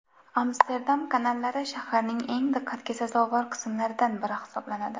Amsterdam kanallari shaharning eng diqqatga sazovor qismlaridan biri hisoblanadi.